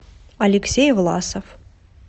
алексей власов